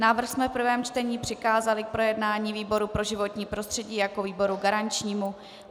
Návrh jsme v prvém čtení přikázali k projednání výboru pro životní prostředí jako výboru garančnímu.